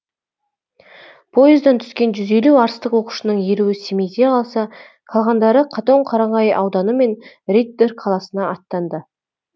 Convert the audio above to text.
пойыздан түскен жүз елу арыстық оқушының елуі семейде қалса қалғандары қатонқарағай ауданы мен риддер қаласына аттанды